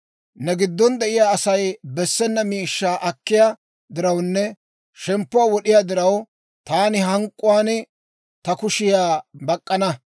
«‹ «Ne giddon de'iyaa Asay bessena miishshaa akkiyaa dirawunne shemppuwaa wod'iyaa diraw, taani hank'k'uwaan ta kushiyaa bak'k'ana.